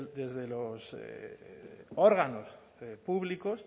desde los órganos públicos